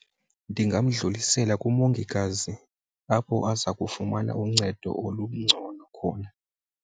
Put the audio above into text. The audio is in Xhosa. Ndingamdlulisela kumongikazi apho aza kufumana uncedo olungcono khona.